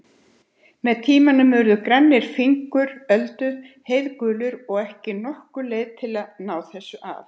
Með tímanum urðu grannir fingur Öldu heiðgulir og ekki nokkur leið að ná þessu af.